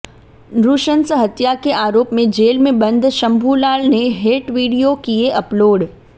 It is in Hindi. नृशंस हत्या के आरोप में जेल में बंद शंभूलाल ने हेट विडियो किए अपलोड